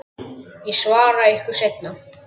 Ég svara ykkur seinna.